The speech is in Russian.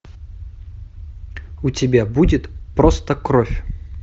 у тебя будет просто кровь